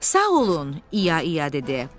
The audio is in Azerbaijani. Sağ olun, İya İya dedi.